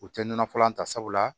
U tɛ nɔnɔ fɔlɔ ta sabula